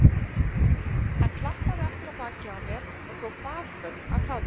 Hann klappaði aftur á bakið á mér og tók bakföll af hlátri.